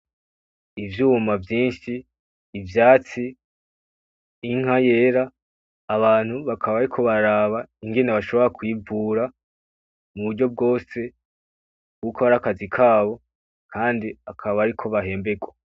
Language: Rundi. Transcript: Ivyuma vyinshi, ivyatsi inka yera abantu bakaba bariko bararaba ingene bashobora kuyivura muburyo rwose. Kuko arakazi kabo kandi akaba ariko bahemberwa.